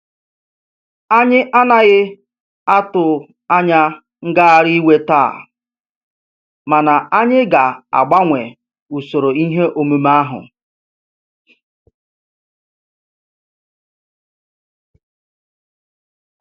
Anyị anaghị atụ anya ngagharị iwe taa, mana anyị ga-agbanwee usoro ihe omume ahu.